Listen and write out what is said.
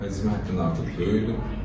Həcmi həddindən artıq böyükdür.